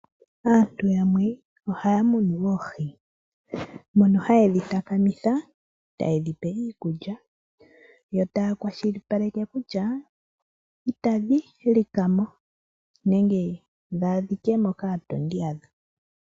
Aantu yamwe ohaya munu oohi mono ha yedhi takamitha tayedhipe iikulya yo taya kwashilipaleke kutya itadhi lika mo nenge dha adhikemo kaatondi yadho.